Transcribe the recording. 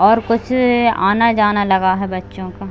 और कुछ आना-जाना लगा है बच्चो का।